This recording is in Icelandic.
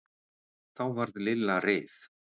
Þá varð Lilla reið.